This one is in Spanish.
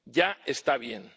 Ya está bien.